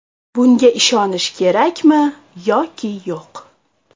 Bunga ishonish kerakmi yoki yo‘q?